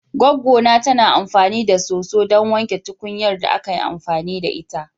Goggona tana amfani da soso ɗon wanke tukunyar da aka yi amfani da ita.